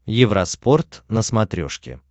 евроспорт на смотрешке